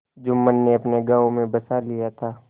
जुम्मन ने अपने गाँव में बसा लिया था